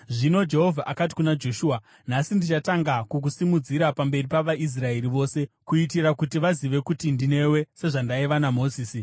Zvino Jehovha akati kuna Joshua, “Nhasi ndichatanga kukusimudzira pamberi pavaIsraeri vose, kuitira kuti vazive kuti ndinewe sezvandaiva naMozisi.